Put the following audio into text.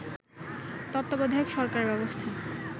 তত্ত্বাবধায়ক সরকারব্যবস্থা